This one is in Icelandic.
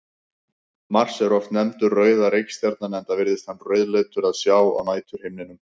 Mars er oft nefndur rauða reikistjarnan enda virðist hann rauðleitur að sjá á næturhimninum.